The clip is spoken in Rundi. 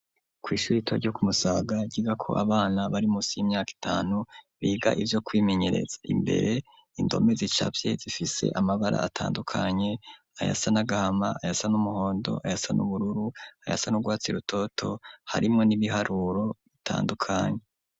Kw'ishure rito ryo ku Musaga ryigako abana bari munsi y'imyaka itanu biga ivyo kwimenyereza. Imbere indome zicafye zifise amabara atandukanye ayasa n'agahama, ayasa n'umuhondo, ayasa n'ubururu, ayasa n'urwatsi rutoto, harimwo n'ibiharuro bitandukanye.